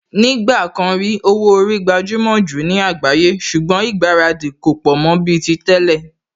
Ní ìgbà kan rí, owó orí gbajúmò jù ní àgbáyé ṣùgbọ́n ìgbáradì kò pọ̀ mọ́ bíi ti tẹ́lẹ̀